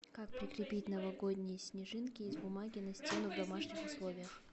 как прикрепить новогодние снежинки из бумаги на стену в домашних условиях